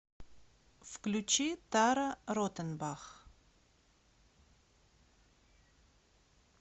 включи тара ротенбах